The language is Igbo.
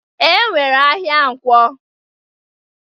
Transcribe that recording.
E nwere ahịa Nkwọ.